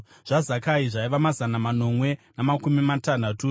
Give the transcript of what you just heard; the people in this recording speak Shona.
zvaZakai zvaiva mazana manomwe namakumi matanhatu;